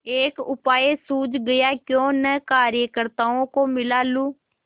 एक उपाय सूझ गयाक्यों न कार्यकर्त्ताओं को मिला लूँ